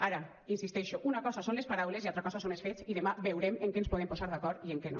ara hi insisteixo una cosa són les paraules i altra cosa són els fets i demà veurem en què ens podem posar d’acord i en què no